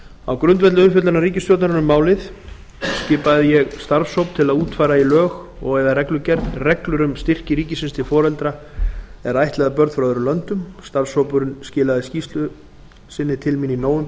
á grundvelli umfjöllunar ríkisstjórnarinnar um málið skipaði ég starfshóp til að útfæra í lög og eða reglugerð reglur um styrki ríkisins til foreldra er ættleiða börn frá öðrum löndum starfshópurinn skilaði skýrslu sinni til mín í nóvember